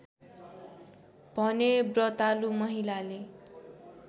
भने व्रतालु महिलाले